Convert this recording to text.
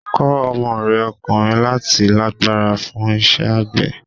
Kọ́ ọmọ rẹ ọkùnrin láti lágbára fún iṣẹ́ àgbẹ̀.